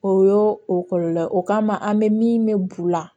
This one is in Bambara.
O y'o o kɔlɔlɔ ye o kama an bɛ min bɛ bu la